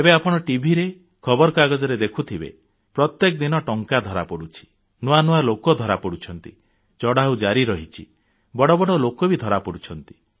ଏବେ ଆପଣ ଟିଭି ରେ ଖବରକାଗଜରେ ଦେଖୁଥିବେ ପ୍ରତ୍ୟେକ ଦିନ ଟଙ୍କା ଧରାପଡୁଛି ନୂଆ ନୂଆ ଲୋକ ଧରାପଡୁଛନ୍ତି ଚଢ଼ଉ ଜାରି ରହିଛି ବଡ଼ ବଡ଼ ଲୋକ ବି ଧରାପଡୁଛନ୍ତି